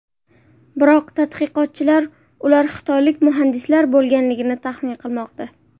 Biroq tadqiqotchilar ular xitoylik muhandislar bo‘lganligini taxmin qilmoqda.